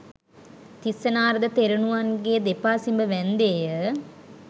තිස්ස නාරද තෙරණුවන්ගේ දෙපා සිඹ වැන්ඳේය